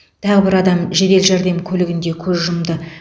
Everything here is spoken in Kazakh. тағы бір адам жедел жәрдем көлігінде көз жұмды